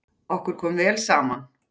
Okkur kom vel saman.